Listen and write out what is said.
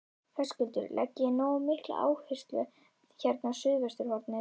Höskuldur: Leggið þið nógu mikla áherslu hérna á suðvesturhornið?